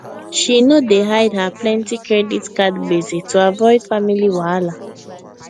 she know dey hide her plenty credit card gbese to avoid family wahala